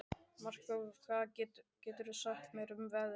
Markþór, hvað geturðu sagt mér um veðrið?